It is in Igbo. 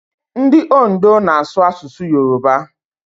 Ndị Ondo na-asụ asụsụ Yoroba.